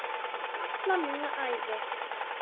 Alla mína ævi.